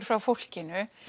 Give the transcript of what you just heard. frá fólkinu